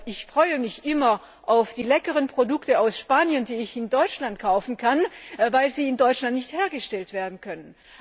Ich freue mich immer auf die leckeren Produkte aus Spanien, die ich in Deutschland kaufen kann, weil sie in Deutschland nicht hergestellt werden können.